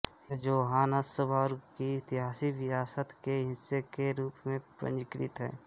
यह जोहान्सबर्ग की ऐतिहासिक विरासत के हिस्से के रूप में पंजीकृत है